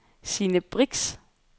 Sine Brix